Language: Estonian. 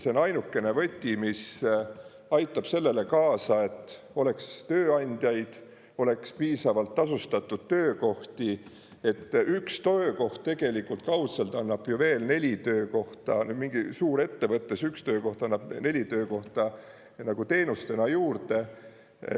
See on ainukene võti, mis aitab sellele kaasa, et oleks tööandjaid, oleks piisavalt tasustatud töökohti, et üks töökoht tegelikult kaudselt annab ju veel neli töökohta, mingi suurettevõttes üks töökoht annab neli töökohta nagu teenustena juurde.